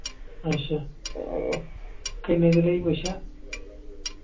ਅੱਛਾ। ਕਿੰਨੇ ਦੀ ਲਈ ਪੁੱਛਿਆ।